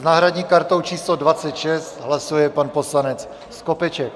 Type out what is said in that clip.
S náhradní kartou číslo 26 hlasuje pan poslanec Skopeček.